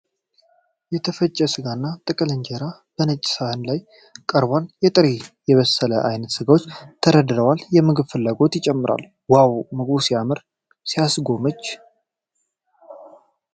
የተፈጨ ስጋና ጥቅልል እንጀራ በነጭ ሳህን ላይ ቀርበዋል። የጥሬና የበሰለ አይነት ስጋዎች ተደርድረዋል። የምግብ ፍላጎት ይጨምራል። ዋው! ምግቡ ሲያምርና ሲያስጎመጅ!